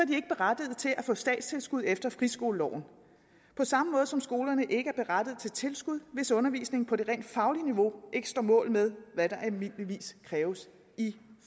de ikke berettiget til at få statstilskud efter friskoleloven på samme måde som skolerne ikke er berettiget til tilskud hvis undervisningen på det rent faglige niveau ikke står mål med hvad der almindeligvis kræves i